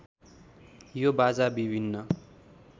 यो बाजा विभिन्न